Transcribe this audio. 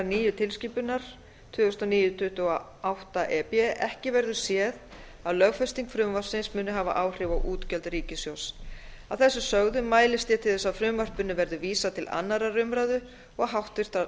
nýju tilskipunar tvö þúsund og níu tuttugu og átta e b ekki verður séð að lögfesting frumvarpsins muni hafa áhrif á útgjöld ríkissjóðs að þessu sögðu mælist ég til þess að frumvarpinu verði vísað til annarrar umræðu og háttvirtrar